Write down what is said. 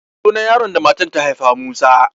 Sunan yaron da matan ta haifa Musa.